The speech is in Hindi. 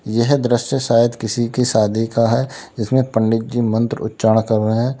यह दृश्य शायद किसी की शादी का है जिसमे पंडित जी मंत्र उच्चारण कर रहे है।